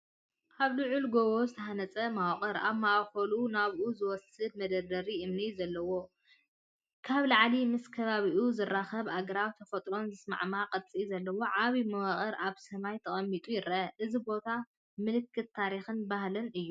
ኣብ ልዑል ጎቦ ዝተሃንጸ መዋቕር፡ ኣብ ማእከሉ ናብኡ ዝወስድ መደርደሪ እምኒ ዘለዎ። ካብ ላዕሊ ምስ ከባቢኡ ዝርከቡ ኣግራብን ተፈጥሮን ዝሰማማዕ ቅርጺ ዘለዎ ዓቢ መዋቕር ኣብ ሰማይ ተቐሚጡ ይርአ። እዚ ቦታ ምልክት ታሪኽን ባህልን እዩ።